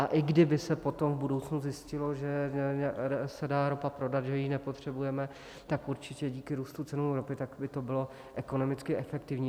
A i kdyby se potom v budoucnu zjistilo, že se dá ropa prodat, že ji nepotřebujeme, tak určitě díky růstu ceny ropy by to bylo ekonomicky efektivní.